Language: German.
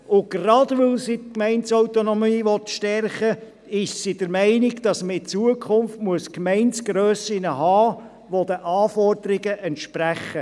Und gerade weil sie die Gemeindeautonomie stärken will, müssen künftig die Gemeindegrössen den Anforderungen entsprechen.